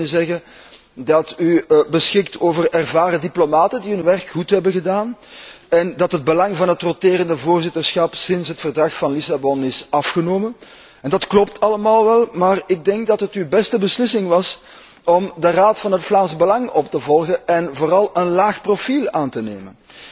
Men zou kunnen zeggen dat u beschikt over ervaren diplomaten die hun werk goed hebben gedaan en dat het belang van het roterend voorzitterschap sinds het Verdrag van Lissabon is afgenomen. Dat klopt allemaal wel, maar ik denk dat het uw beste beslissing was om de raad van het Vlaams Belang op te volgen en vooral een laag profiel aan te nemen.